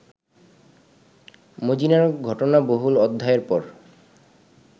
মজীনার ঘটনাবহুল অধ্যায়ের পর